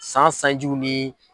San sanjiw ni.